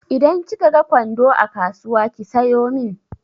Idan kika ga kwando a kasuwa ki sayo min.